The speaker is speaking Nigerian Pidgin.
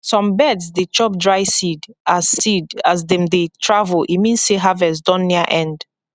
some birds dey chop dry seed as seed as dem dey travel e mean say harvest don near end